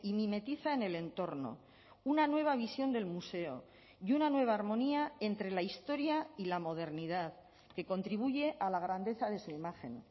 mimetiza en el entorno una nueva visión del museo y una nueva armonía entre la historia y la modernidad que contribuye a la grandeza de su imagen